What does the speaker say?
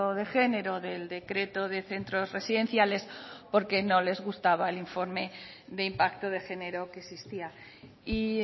de género del decreto de centros residenciales porque no les gustaba el informe de impacto de género que existía y